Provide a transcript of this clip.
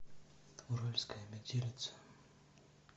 уральская метелица